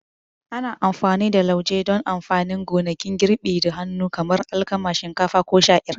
Ana amfani da lauje don amfanin gonakin girbi da hannu kamar alkama, shinkafa, ko sha'ir.